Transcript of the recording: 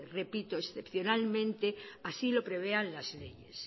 epito excepcionalmente así lo prevean las leyes